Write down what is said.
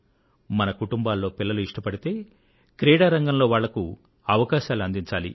మన కుటుంబాల్లో పిల్లలు ఇష్టపడితే క్రీడా రంగంలో వాళ్లకు అవకాశాలు అందించాలి